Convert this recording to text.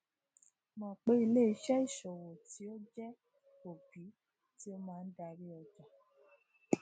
mọ pe ileiṣẹ isowo ti o jẹ obi ti o maa dari ọja